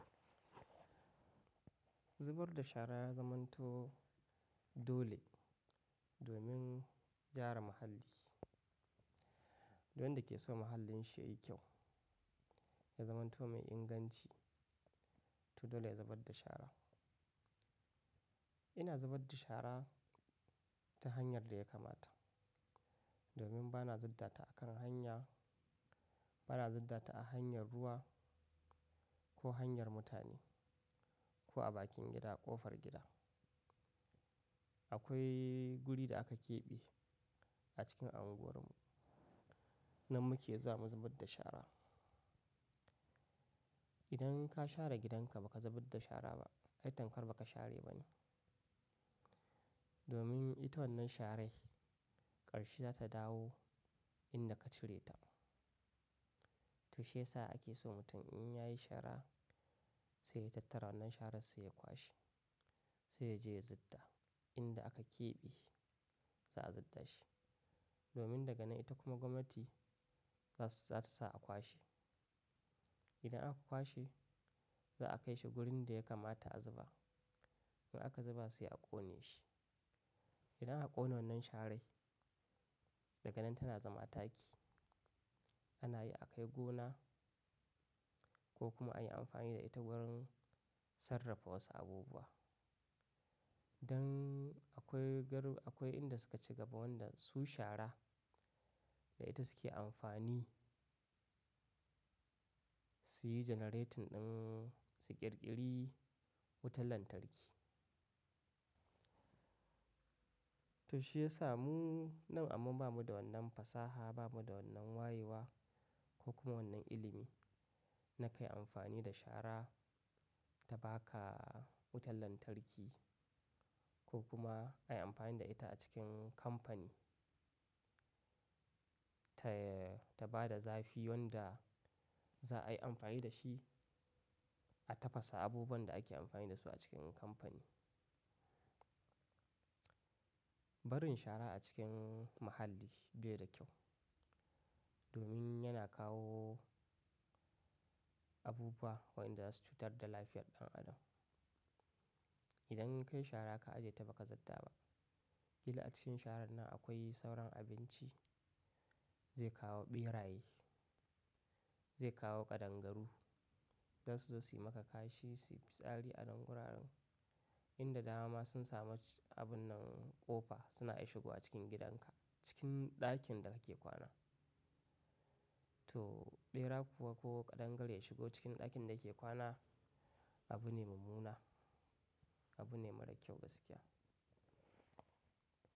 Zubar da shara ya zamanto dole domin gyara muhalli. Duk wanda ke so mahallin shi yayi kyau, ya zamanto mai inganci, to dole ya zubar da shara. Ina zubar da shara ta hanyar da ya kamata, domin bana zub data a kan hanya, bana zub data a hanyar ruwa ko hanyar mutane ko a bakin gida, ƙofar gida. Akwai guri da aka keɓe a cikin unguwarmu nan muke zuwa mu zubar da shara. Idan ka share gidanka baka zubar da shara ba, ai tamkar baka share ba ne. Domin ita wannan shara ƙarshe za ta dawo inda ka cire ta. To shi ya sa ake so mutum in ya yi shara sai ya tattara wannan sharar sai ya kwashe sai ya je ya zubda. Inda aka keɓe za a zubda shi, domin daga nan ita kuma gwamnati za ta sa a kwashe. Idan aka kwashe za a kai shi wurin da ya kamata a zuba. In aka zuba sai a ƙone shi. Idan aka ƙone wannan sharai daga nan tana zama taki. Ana iya akai gona ko kuma ayi amfani da ita wurin sarrafa wasu abubuwa. Dan akwai inda suka ci gaba wanda su shara da ita suke amfani, su yi generating ɗin su ƙirƙiri wutar lantarki. To shi ya samu nan amma ba mu da wannan fasaha, ba mu da wannan wayewa ko kuma wannan ilimi na kai amfani da shara ta ba ka wutar lantarki ko kuma a yi amfani da ita a cikin kamfani ta, ta ba da zafi wanda za a yi amfani da shi a tafasa abubuwan da ake amfani da su a cikin kamfani. Barin shara a cikin muhalli bai da kyau, domin yana kawo abubuwa wa inda za su cutar da lafiyar ɗan adam. Idan kayi shara ka ajiye ta baka zubda ba, ƙila a cikin sharan nan akwai sauran abinci zai kawo ɓeraye, zai kawo ƙadangaru za su zo suyi maka kashi, su yi fitsari a nan guraren. Inda dama sun samu abun nan ƙofa suna iya shigowa cikin gidanka, cikin ɗakin da kake kwana. To ɓera kuwa ko ƙadangare ya shigo cikin ɗakin da yake kwana abu ne mummuna, abu ne mara kyau gaskiya.